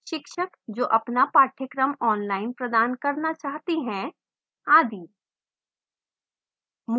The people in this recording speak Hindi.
शिक्षक जो अपना पाठ्यक्रम online प्रदान करना चाहते हैं आदि